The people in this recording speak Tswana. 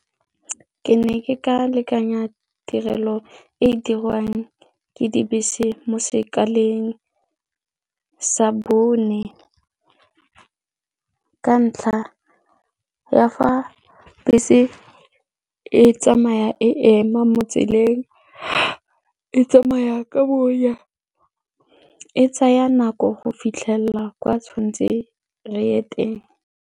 Ke ne ke ka lekanya tirelo e e dirwang ke dibese mo sekaleng sa bone ka ntlha ya fa bese e tsamaya e ema mo tseleng, e tsamaya ka bonya, e tsaya nako go fitlhelela kwa tshwan'tseng re ye teng.